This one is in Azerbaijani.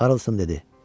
Karlson dedi: